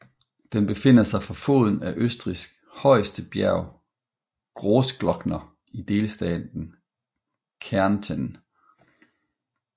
Den befinder sig for foden af Østrigs højeste bjerg Großglockner i delstaten Kärnten